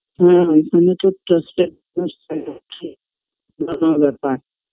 হ্যাঁ ওখানে তো হচ্ছে বড়ো ব্যাপার